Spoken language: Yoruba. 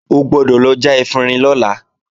O gbọ́dọ̀ lọ já efinrin lọ́la!